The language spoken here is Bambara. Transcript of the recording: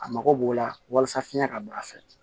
A mako b'o la walasa fiɲɛ ka bɔ a fɛ